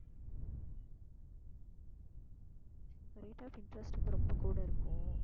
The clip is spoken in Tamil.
rate of interest வந்து ரொம்ப கூட இருக்கும்